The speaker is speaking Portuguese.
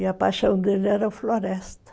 E a paixão dele era a floresta.